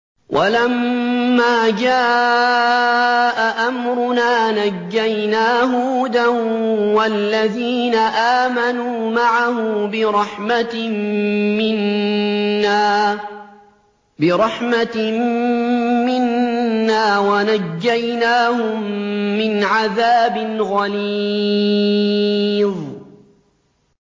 وَلَمَّا جَاءَ أَمْرُنَا نَجَّيْنَا هُودًا وَالَّذِينَ آمَنُوا مَعَهُ بِرَحْمَةٍ مِّنَّا وَنَجَّيْنَاهُم مِّنْ عَذَابٍ غَلِيظٍ